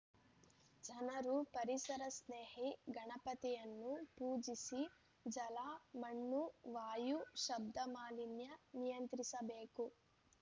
ಜನರು ಪರಿಸರ ಸ್ನೇಹಿ ಗಣಪತಿಯನ್ನು ಪೂಜಿಸಿ ಜಲ ಮಣ್ಣು ವಾಯು ಶಬ್ದ ಮಾಲಿನ್ಯ ನಿಯಂತ್ರಿಸಬೇಕು